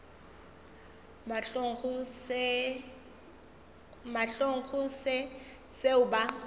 mahlong go se seo ba